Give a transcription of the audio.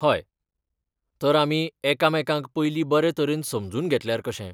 हय, तर आमी एकामेकांक पयलीं बरें तरेन समजून घेतल्यार कशें?